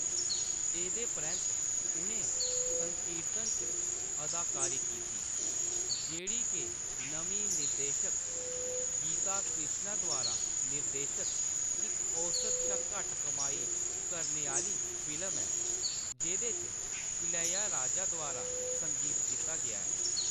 एह्‌‌‌दे परैंत्त उʼनें संकीर्तन च अदाकारी कीती, जेह्‌‌ड़ी के नमीं निर्देशक गीता कृष्णा द्वारा निर्देशत इक औस्त शा घट्ट कमाई करने आह्‌‌‌ली फिल्म ऐ जेह्‌‌‌दे च इलैयाराजा द्वारा संगीत दित्ता गेदा ऐ।